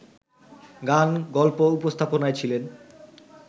গান-গল্প উপস্থাপনায় ছিলেন